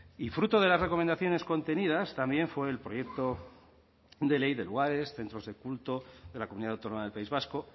y fruto de las recomendaciones contenidas también por el proyecto de ley de lugares centros de culto de la comunidad autónoma del país vasco